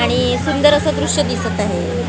आणि सुंदर असं दृश्य दिसत आहे.